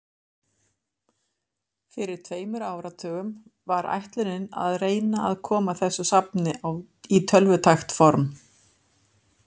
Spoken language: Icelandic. Fyrir um tveimur áratugum var ætlunin að reyna að koma þessu safni í tölvutækt form.